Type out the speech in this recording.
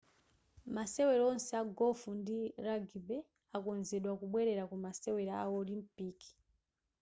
masewero onse a golf ndi rugby akonzeka kubwerera ku masewera a olimpiki